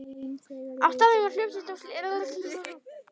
Á staðnum var hljómsveit og lék jafnt eigin verk sem tónlist við fjöldasöng.